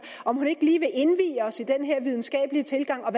om hun ikke lige vil indvie os i den her videnskabelige tilgang og